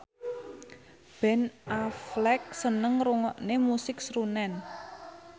Ben Affleck seneng ngrungokne musik srunen